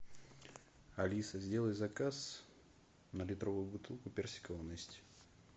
алиса сделай заказ на литровую бутылку персикового нести